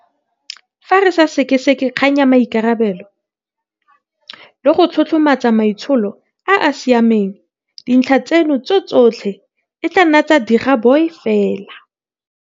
Fa re sa sekaseke kgang ya maikarabelo le go tlotlomatsa maitsholo a a sia meng, dintlha tseno tsotlhe e tla nna digaboi fela.